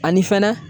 Ani fɛnɛ